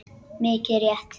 Mikið rétt.